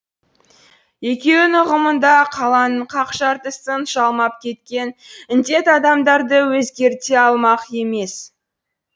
екеуінің ұғымында қаланың қақ жартысын жалмап кеткен індет адамдарды өзгерте алмақ емес